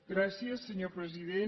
gràcies senyor president